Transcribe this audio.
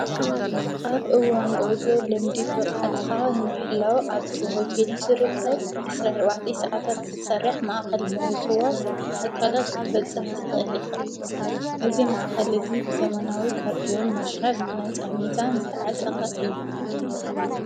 ኣብ እዋን ጐዕዞ ልምዲ ብቓዓትኻ ንምሕላው ኣብቲ ሆትል እንትርከብ ዕስራን ኣርባዕተን ሰዓታት እትስርሕ ማእኸል ምውዝዋዝ ኣካላት ክትበጽሕ ትኽእል ኢኸ። እዙ ማእከል እዙይ ብዘመናዊ ካርድዮን ማሽራት ነፃ ሚዛን ዝተዓጠቓ እዩ።